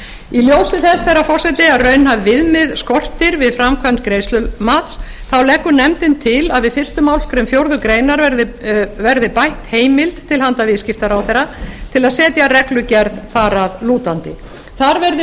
í ljósi þess herra forseti að raunhæf viðmið skortir við framkvæmd greiðslumats þá leggur nefndin til að við fyrstu málsgrein fjórðu grein verði bætt heimild til handa viðskiptaráðherra til að setja reglugerð þar að lútandi þar verði